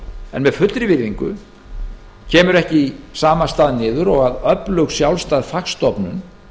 en með fullri virðingu kemur það ekki í sama stað niður og að öflug sjálfstæð fagstofnun